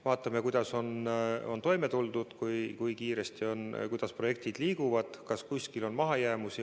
Vaatame, kuidas on toime tuldud, kui kiiresti ja kuidas projektid liiguvad, kas kuskil on mahajäämusi.